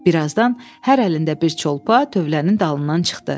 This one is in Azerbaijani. Bir azdan hər əlində bir çolpa tövlənin dalından çıxdı.